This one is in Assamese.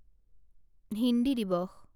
হিন্দী দিৱস